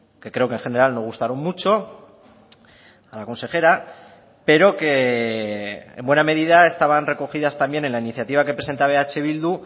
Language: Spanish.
que creo que en general no gustaron mucho a la consejera pero que en buena medida estaban recogidas también en la iniciativa que presentaba eh bildu